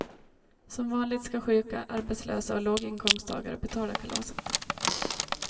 Som vanligt ska sjuka, arbetslösa och låginkomsttagare betala kalaset.